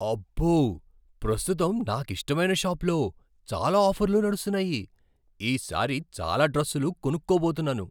అబ్బో! ప్రస్తుతం నాకు ఇష్టమైన షాప్లో చాలా ఆఫర్లు నడుస్తున్నాయి. ఈసారి చాలా డ్రస్సులు కొనుక్కోబోతున్నాను.